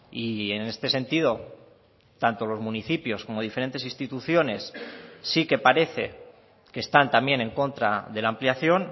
y en este sentido tanto los municipios como diferentes instituciones sí que parece que están también en contra de la ampliación